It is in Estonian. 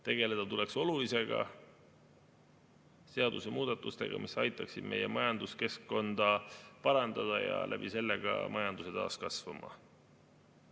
Tegeleda tuleks olulisega, seadusemuudatustega, mis aitaksid meie majanduskeskkonda parandada ja selle kaudu ka majanduse taas kasvama.